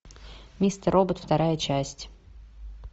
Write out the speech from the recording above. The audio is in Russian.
мистер робот вторая часть